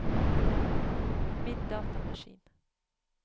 min datamaskin